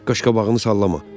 Qaşqabağını sallama.